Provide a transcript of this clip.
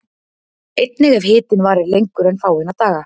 Einnig ef hitinn varir lengur en fáeina daga.